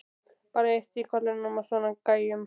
Bara eitt í kollinum á svona gæjum.